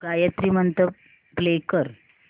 Gayatri Mantra play कर